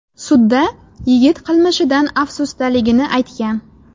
Sudda yigit qilmishidan afsusdaligini aytgan.